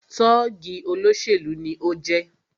Tọ́ọ̀gì olóṣèlú ni o jẹ́